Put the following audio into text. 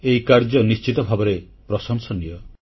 ଏହି କାର୍ଯ୍ୟ ନିଶ୍ଚିତ ଭାବରେ ପ୍ରଶଂସନୀୟ